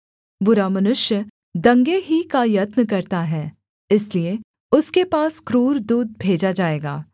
बुरा मनुष्य दंगे ही का यत्न करता है इसलिए उसके पास क्रूर दूत भेजा जाएगा